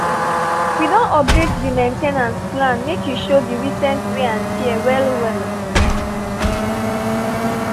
we don update di main ten ance plan make e show di recent wear and tear well well.